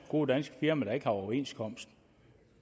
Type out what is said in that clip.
gode danske firmaer der ikke har overenskomst